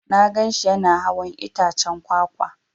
Na gan shi Yana hawan itaccen kwakwa.